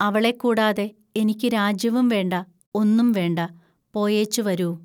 അവളെക്കൂടാതെ എനിക്കു രാജ്യവും വേണ്ട, ഒന്നും വേണ്ട, പോയേച്ചു വരൂ